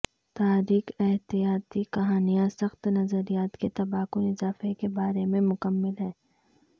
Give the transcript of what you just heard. تاریخ احتیاطی کہانیاں سخت نظریات کے تباہ کن اضافہ کے بارے میں مکمل ہے